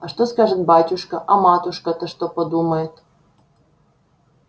а что скажет батюшка а матушка-то что подумает